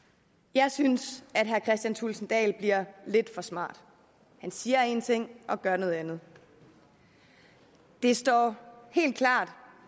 jeg synes herre kristian thulesen dahl bliver lidt for smart han siger en ting og gør noget andet det står helt klart